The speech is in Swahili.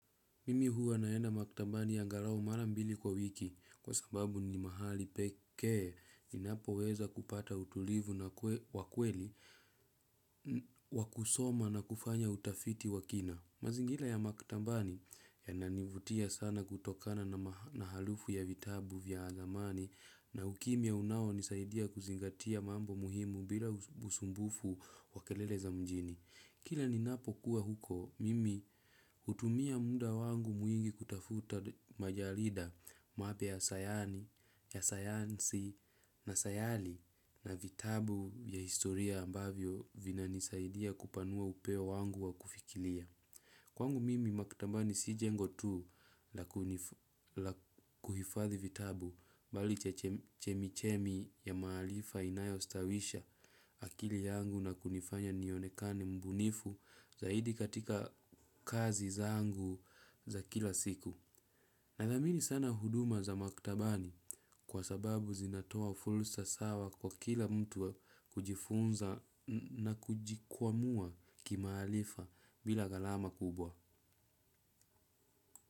Mimi huwa naenda maktabani angalau mara mbili kwa wiki kwa sababu ni mahali pekee ninapoweza kupata utulivu na wa kweli wa kusoma na kufanya utafiti wa kina. Mazingira ya maktabani yananivutia sana kutokana na harufu ya vitabu vya zamani na ukimya unaonisaidia kuzingatia mambo muhimu bila usumbufu wa kelele za mjini. Kila ninapokuwa huko, mimi hutumia muda wangu mwingi kutafuta majarida mapya sayani, ya sayansi na sayari na vitabu ya historia ambavyo vinanisaidia kupanua upeo wangu wa kufikiria. Kwangu mimi maktabani si jengo tu la kuhifadhi vitabu bali chemichemi ya maarifa inayostawisha akili yangu na kunifanya nionekane mbunifu zaidi katika kazi zangu za kila siku. Nathamini sana huduma za maktabani kwa sababu zinatoa fursa sawa kwa kila mtu kujifunza na kujikwamua kimaarifa bila gharama kubwa.